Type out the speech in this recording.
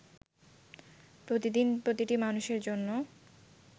প্রতিদিন প্রতিটি মানুষের জন্য